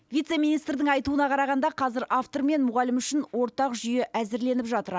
вице министрдің айтуына қарағанда қазір автор мен мұғалім үшін ортақ жүйе әзірленіп жатыр